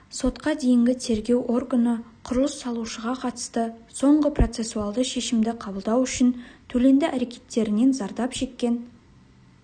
сотқа дейінгі тергеу органы құрылыс салушыға қатысты соңғы процессуалды шешімді қабылдау үшін төленді әркеттерінен зардап шеккен